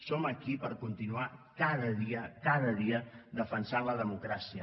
som aquí per continuar cada dia cada dia defensant la democràcia